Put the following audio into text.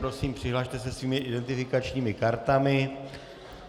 Prosím, přihlaste se svými identifikačními kartami.